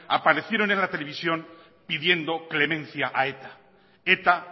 aparecieron en la televisión pidiendo clemencia a eta eta